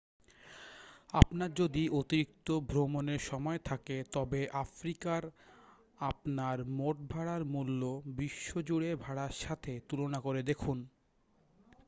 আপনার যদি অতিরিক্ত ভ্রমণের সময় থাকে তবে আফ্রিকার আপনার মোটভাড়ার মূল্য বিশ্বজুড়ে ভাড়ার সাথে তুলনা করে দেখুন